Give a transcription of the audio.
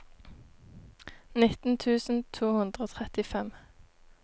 nitten tusen to hundre og trettifem